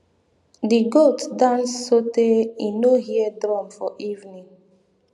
di goat dance sotey im no hear drum for evening